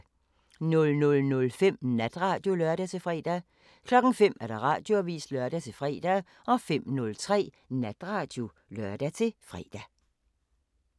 00:05: Natradio (lør-fre) 05:00: Radioavisen (lør-fre) 05:03: Natradio (lør-fre)